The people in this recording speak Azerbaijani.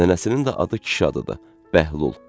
Nənəsinin də adı kişi adıdır, Bəhlul.